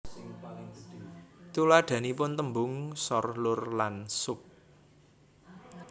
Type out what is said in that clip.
Tuladhanipun tèmbung sor lur lan sup